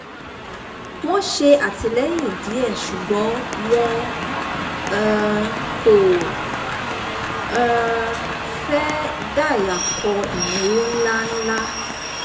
wọ́n ṣè àtìlẹ́yìn díẹ̀ ṣùgbọ́n wọn um kò um fẹ́ dàyàkọ ìnáwó ńláńlá